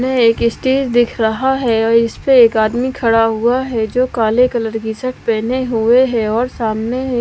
एक स्टेज दिख रहा है और इस पे एक आदमी खड़ा हुआ है जो काले कलर की शर्ट पहने हुए हैं और सामने--